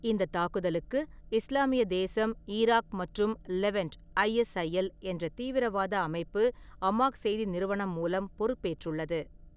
இந்த தாக்குதலுக்கு இஸ்லாமிய தேசம் ஈராக் மற்றும் லெவன்ட் (ஐஎஸ்ஐஎல்) என்ற தீவிரவாத அமைப்பு அமாக் செய்தி நிறுவனம் மூலம் பொறுப்பேற்றுள்ளது.